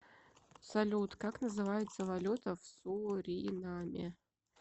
салют как называется валюта в суринаме